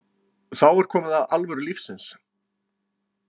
Þá var komið að alvöru lífins.